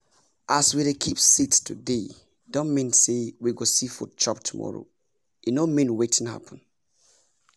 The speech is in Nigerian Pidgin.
as we dey keep seeds today don mean say we go see food chop tomorrow e no mean wetin happen